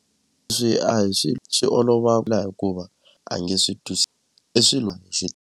a hi swilo swi olova hikuva a nge swi i swilo .